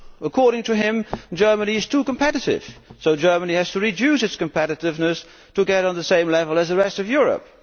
According to him, Germany is too competitive, so it has to reduce its competitiveness to get on the same level as the rest of Europe.